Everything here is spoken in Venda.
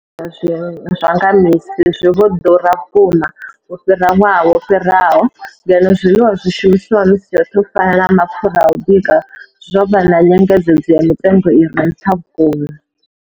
Zwa nga misi zwi vho ḓura vhukuma u fhira ṅwaha wo fhiraho, ngeno zwiḽiwa zwi shumiswaho misi yoṱhe u fana na mapfhura a u bika zwo vha na nyengedzedzo ya mitengo i re nṱha vhukuma.